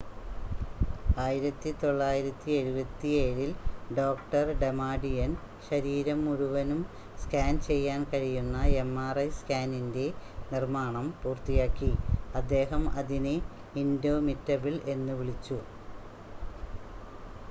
"1977-ൽ doctor Damadian ശരീരം മുഴുവനും scan ചെയ്യാൻ കഴിയുന്ന mri സ്കാനറിൻറ്റെ നിർമ്മാണം പൂർത്തിയാക്കി അദ്ദേഹം അതിനെ "ഇൻഡോമിറ്റബിൾ" എന്ന് വിളിച്ചു.